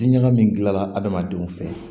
Diɲaga min gilanna adamadenw fɛ